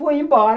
Fui embora.